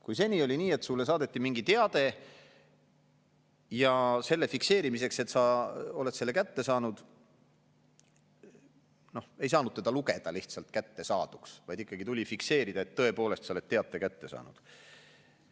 Kui seni oli nii, et sulle saadeti mingi teade ja selle fikseerimiseks, et sa oled selle kätte saanud, ei saanud seda lugeda lihtsalt kättesaaduks, vaid ikkagi tuli fikseerida, et tõepoolest, sa oled teate kätte saanud.